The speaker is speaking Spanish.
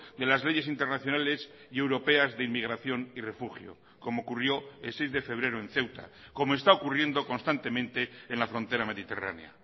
de las leyes internacionales y europeas de inmigración y refugio como ocurrió el seis de febrero en ceuta como está ocurriendo constantemente en la frontera mediterránea